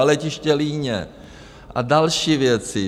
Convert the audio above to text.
A letiště Líně a další věci.